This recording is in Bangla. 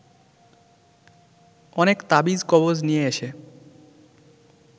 অনেক তাবিজ কবজ নিয়ে এসে